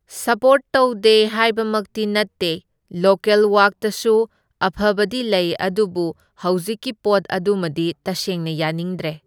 Support ꯇꯧꯗꯦ ꯍꯥꯏꯕꯃꯛꯇꯤ ꯅꯠꯇꯦ, ꯂꯣꯀꯦꯜ ꯋꯛꯇꯁꯨ ꯑꯐꯕꯗꯤ ꯂꯩ ꯑꯗꯨꯕꯨ ꯍꯧꯖꯤꯛꯀꯤ ꯄꯣꯠ ꯑꯗꯨꯃꯗꯤ ꯇꯁꯦꯡꯅ ꯌꯥꯅꯤꯡꯗ꯭ꯔꯦ꯫